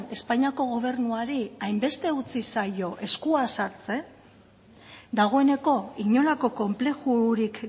espainiako gobernuari hainbeste utzi zaio eskua sartzen dagoeneko inolako konplexurik